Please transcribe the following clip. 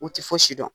U tɛ fosi dɔn